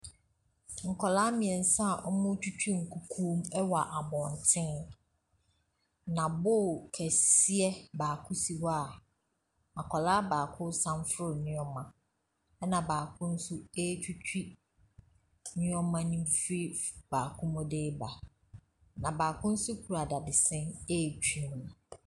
Nkɔlaa miɛnsa a ɔmo twitwi nkyɛnsee mu wɔ abɔnten. Na boo kɛseɛ baako si hɔ a akolaa baako samfono nnoɔma no mu. Ena baako nso etwitwi nnoɔma no fri baako mu de ba. Baako nso kura dadesɛn etwi mu.